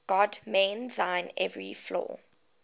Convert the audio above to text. god mend thine every flaw